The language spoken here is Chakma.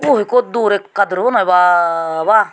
oh ikko dur ekka durbo noi bwaa bwaa.